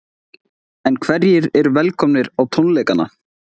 En hverjir eru velkomnir á tónleikana?